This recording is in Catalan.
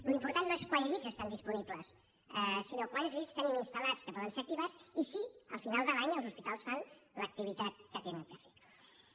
l’important no és quants llits estan disponibles sinó quants llits tenim instalpoden ser activats i si al final de l’any els hospitals fan l’activitat que han de fer